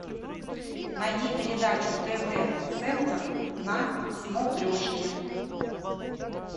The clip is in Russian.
найди передачу тв центр на смотрешке